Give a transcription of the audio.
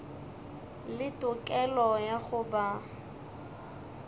le tokelo ya go ba